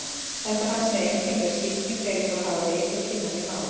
Þetta fannst mér einkennileg skipting þegar ég fór að hafa vit og kynna mér málin.